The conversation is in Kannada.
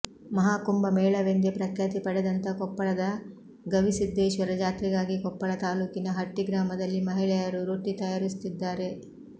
ಮಹಾಕುಂಭ ಮೇಳವೆಂದೇ ಪ್ರಖ್ಯಾತಿ ಪಡೆದಂತ ಕೊಪ್ಪಳದ ಗವಿಸಿದ್ದೇಶ್ವರ ಜಾತ್ರೆಗಾಗಿ ಕೊಪ್ಪಳ ತಾಲೂಕಿನ ಹಟ್ಟಿ ಗ್ರಾಮದಲ್ಲಿ ಮಹಿಳೆಯರು ರೊಟ್ಟಿ ತಯಾರಿಸುತ್ತಿದ್ದಾರೆ